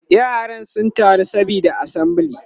yara sun taru saboda assembly